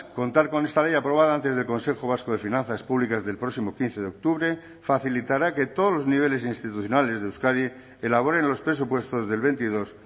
contar con esta ley aprobada antes del consejo vasco de finanzas públicas del próximo quince de octubre facilitará que todos los niveles institucionales de euskadi elaboren los presupuestos del veintidós